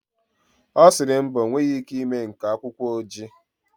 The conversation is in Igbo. Ọ sịrị mba, ọ nweghị ike ịme nka akwụkwọ ojii.